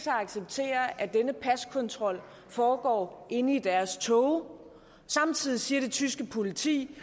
at acceptere at denne paskontrol foregår inde i deres tog og samtidig siger det tyske politi